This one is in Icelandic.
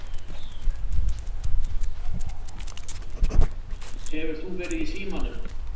Hefur þú verið í símanum?